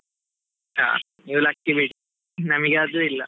ಹಾ ನೀವು lucky ಬಿಡಿ, ನಮಿಗೆ ಅದೂ ಇಲ್ಲಾ.